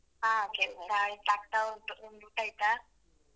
ಆಯ್ತಾ ಹಾ ಕೆಲ್ಸ ಆಯ್ತಾ ಆಗ್ತಾ ಉಂಟು ನಿಮ್ದ್ ಊಟ ಆಯ್ತಾ?